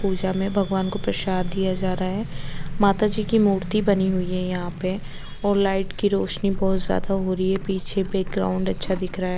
पूजा में भगवान को प्रसाद दिया जा रहा है माता जी की मूर्ति बनी हुई है यहां पर और लाइट की रोशनी बहुत ज्यादा हो रही है पीछे बैकग्राउंड अच्छा दिख रहा है।